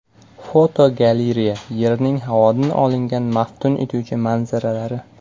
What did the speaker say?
Fotogalereya: Yerning havodan olingan maftun etuvchi manzaralari.